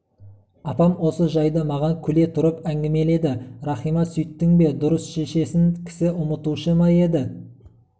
апам осы жайды маған күле тұрып әңгімеледі рахима сүйттің бе дұрыс шешесін кісі ұмытушы ма еді